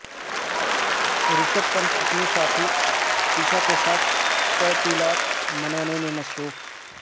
رشپھ پنت اپنی ساتھی ایشا کے ساتھ تعطیلات منانے میں مصروف